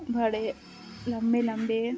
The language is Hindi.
बड़े लम्बे लम्बे--